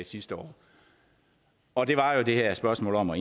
sidste år og det var jo det her spørgsmål om at